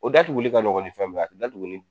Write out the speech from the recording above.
O datuguli ka nɔgɔn ni fɛn bɛɛ a datugunni